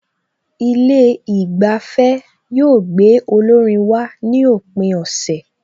Ilé ìgbafẹ́ yóò gbé olórin wá ní òpin ọ̀sẹ̀